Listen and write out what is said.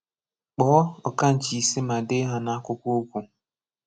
Kpọ̀ọ̀ ụ̀kànchì̀ isé mà deè hà n’àkwùkwọ̀ okwù.